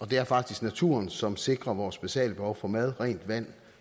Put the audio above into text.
det er faktisk naturen som sikrer vores basale behov for mad rent vand og